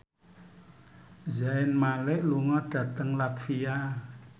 Zayn Malik lunga dhateng latvia